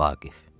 Vaqif.